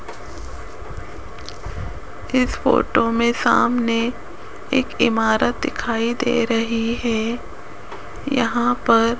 इस फोटो में सामने एक इमारत दिखाई दे रही है यहाँ पर --